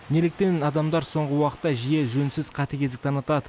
неліктен адамдар соңғы уақытта жиі жөнсіз қатыгездік танытады